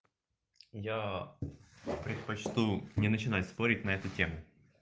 я предпочту не начинать спорить на эту тему